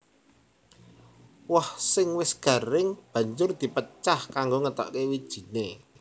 Woh sing wis garing banjur di pecah kanggo ngetokké wijiné